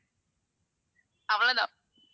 அவ்வளவு தான்